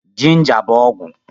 jinja bú ọgwụ